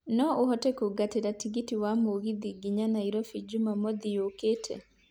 no ũhote kũngatĩra tigiti wa mũgithi nginya nairobi jũmamothi yũkĩte